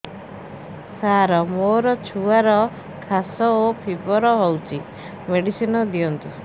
ସାର ମୋର ଛୁଆର ଖାସ ଓ ଫିବର ହଉଚି ମେଡିସିନ ଦିଅନ୍ତୁ